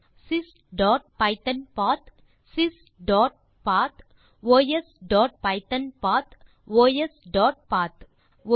sysபைத்தோன்பத் sysபத் osபைத்தோன்பத் osபத் 2